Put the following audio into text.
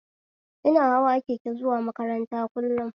Ina hawa keke zuwa makaranta kullum